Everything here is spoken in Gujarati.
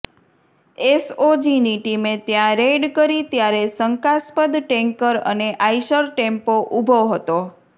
એસઓજીની ટીમે ત્યાં રેઇડ કરી ત્યારે શંકાસ્પદ ટેન્કર અને આઇસર ટેમ્પો ઊભો હતો